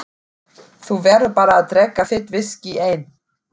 Þú verður bara að drekka þitt viskí einn.